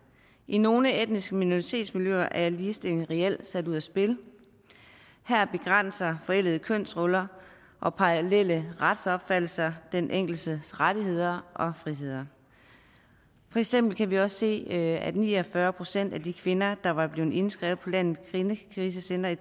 i nogle etniske minoritetsmiljøer er ligestillingen reelt sat ud af spil her begrænser forældede kønsroller og parallelle retsopfattelser den enkeltes rettigheder og friheder for eksempel kan vi også se at ni og fyrre procent af de kvinder der var blevet indskrevet på landets kvindekrisecentre i